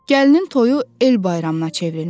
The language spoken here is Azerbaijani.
Gəlinin toyu el bayramına çevrilmişdi.